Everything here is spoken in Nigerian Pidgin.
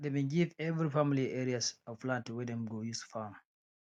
dem bin give every family areas of land wey dem go use farm